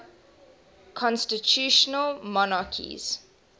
constitutional monarchies